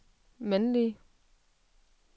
mandlige